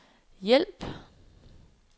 hjælp